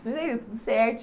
Mas aí, tudo certo.